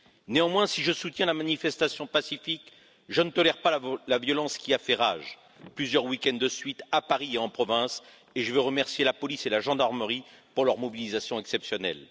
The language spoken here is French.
Néanmoins, si je soutiens la manifestation pacifique, je ne tolère pas la violence qui a fait rage plusieurs week ends de suite à Paris et en province, et je veux remercier la police et la gendarmerie pour leur mobilisation exceptionnelle.